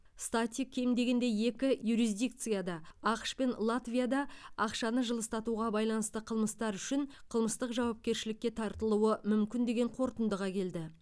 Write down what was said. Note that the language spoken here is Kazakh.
стати кем дегенде екі юрисдикцияда ақш пен латвияда ақшаны жылыстатуға байланысты қылмыстар үшін қылмыстық жауапкершілікке тартылуы мүмкін деген қорытындыға келді